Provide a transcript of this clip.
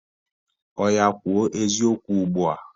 Ọya kwuo eziokwu ugbua!